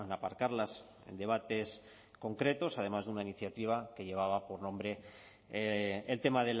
aparcarlas en debates concretos además de una iniciativa que lleva por nombre el tema